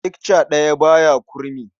Icce ɗaya ba ya kurmi.